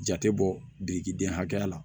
Jate bɔ biriki den hakɛya la